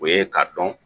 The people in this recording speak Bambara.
O ye k'a dɔn